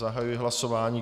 Zahajuji hlasování.